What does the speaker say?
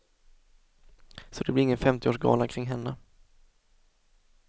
Så det blir ingen femtioårsgala kring henne!